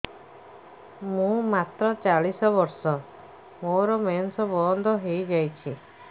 ମୁଁ ମାତ୍ର ଚାଳିଶ ବର୍ଷ ମୋର ମେନ୍ସ ବନ୍ଦ ହେଇଯାଇଛି